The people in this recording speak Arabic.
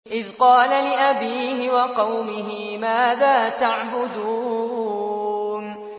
إِذْ قَالَ لِأَبِيهِ وَقَوْمِهِ مَاذَا تَعْبُدُونَ